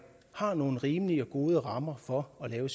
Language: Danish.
har nogle rimelige og gode rammer for at lave